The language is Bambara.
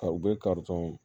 Ta u bɛ karitɔn